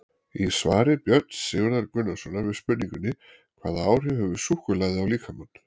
Í svari Björns Sigurðar Gunnarssonar við spurningunni Hvaða áhrif hefur súkkulaði á líkamann?